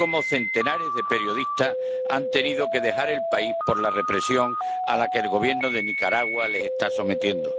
centenares de periodistas han tenido que dejar el país por la represión a la que el Gobierno de Nicaragua les está sometiendo.